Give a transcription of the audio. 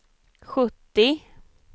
sjuttio